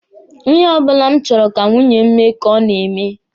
Ihe ọbụla m chọrọ ka nwunye m mee ka o na-eme.